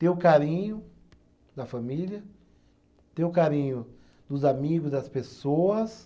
Ter o carinho da família, ter o carinho dos amigos, das pessoas.